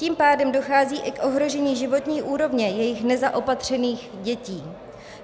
Tím pádem dochází i k ohrožení životní úrovně jejich nezaopatřených dětí.